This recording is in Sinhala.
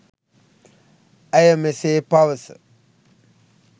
ඇය මෙසේ පවස